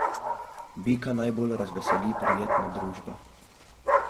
Bika najbolj razveseli prijetna družba.